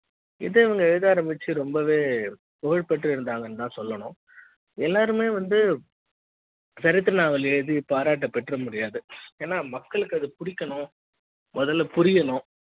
இத இவங்க எழுத ஆரம்பிச்சு ரொம்பவே புகழ்பெற்று இருந்தாங்கன்னு தான் சொல்லணும் எல்லாருமே வந்து சரித்திர நாவலை எழுதிய பாராட்ட பெற்ற முடியாது ஏன்னா மக்களுக்கு அது புடிக்கணும் முதல்ல புரியணும்